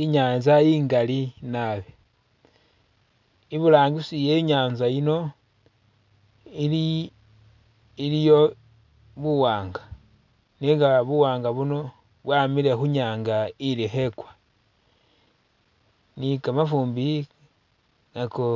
I'nyanza i'ngali naabi, i'burangisi e'nyanza yino, ili.. iliyo buwaanga nenga buwaanga buno bwamile khunyanga ili khekwa, ni kamafumbi nako